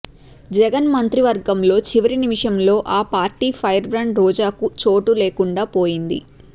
జగన్ మంత్రివర్గంలో చివరి నిమిషంలో ఆ పార్టీ ఫైర్ బ్రాండ్ రోజాకు చోటు లేకుండాపోయింది